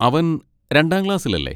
അവൻ രണ്ടാം ക്ലാസ്സിലല്ലേ?